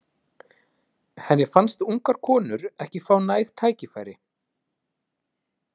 Henni fannst ungar konur ekki fá næg tækifæri.